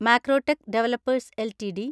Macrotech Developers LTD